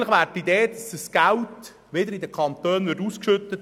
Eigentlich wäre die Idee, dieses Geld wieder in den Kantonen auszuschütten.